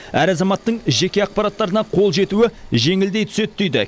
әр азаматтың жеке ақпараттарына қол жетуі жеңілдей түседі дейді